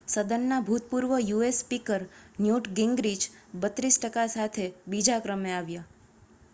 સદનનાં ભૂતપૂર્વ US speaker Newt Gingrich 32 ટકા સાથે બીજા ક્રમે આવ્યા